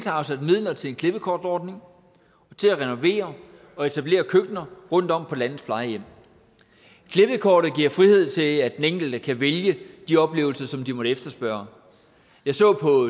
afsat midler til en klippekortordning og til at renovere og etablere køkkener rundtom på landets plejehjem klippekortet giver frihed til at den enkelte kan vælge de oplevelser som man måtte efterspørge jeg så på